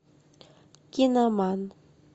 киноман